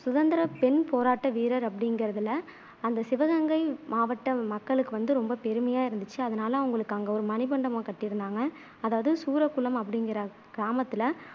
சுதந்திர பெண் போராட்ட வீரர் அப்படிங்குறதுல அந்த சிவகங்கை மாவட்ட மக்களுக்கு வந்து ரொம்ப பெருமையா இருந்துச்சு அதனால அவங்களுக்கு அங்க ஒரு மணிமண்டபம் கட்டியிருந்தாங்க அதாவது சூரக்குளம் அப்படிங்குற கிராமத்துல